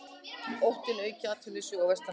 Óttast aukið atvinnuleysi vestanhafs